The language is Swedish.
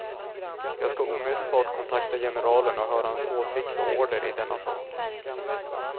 Jag ska omedelbart kontakta generalen och höra hans åsikt och order i denna sak.